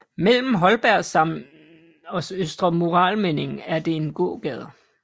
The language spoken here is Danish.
Mellem Holbergsallmenningen og Østre Murallmenningen er det en gågade